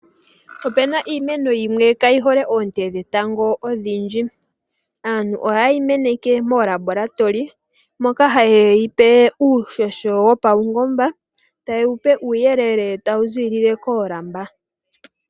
Opuna iimeno yimwe kaayihole oonte dhetango odhindji. Aantu oha yeyi meneke moolambolatoli, moka haye yipe uuhoho wopaungomba, taye yipe uuyelele tawu ziilile koolamba.